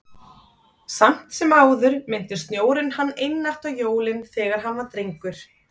Samt sem áður minnti snjórinn hann einatt á jólin, þegar hann var drengur.